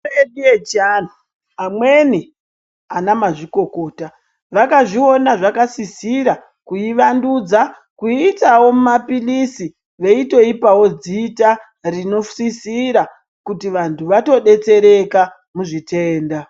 Mitombo yedu yechiantu, amweni anamazvikokota ,vakazviona zvakasisira kuivandudza, kuiitawo mumaphilizi, veitoipawo dzita ,rinosisira kuti vantu vatodetsereka ,muzvitenda.